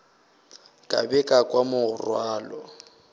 ka be ka kwa morwalo